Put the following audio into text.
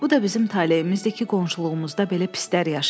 Bu da bizim taleyimizdir ki, qonşuluğumuzda belə pislər yaşayır.